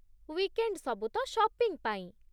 Weekend ସବୁ ତ shopping ପାଇଁ!